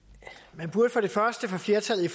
man burde fra flertallet i